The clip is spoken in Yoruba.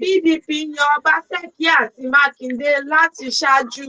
pdp yan ọbaseki àti mákindè láti ṣaájú